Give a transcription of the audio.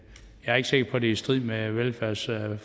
er ikke sikker på det i strid med velfærdsforliget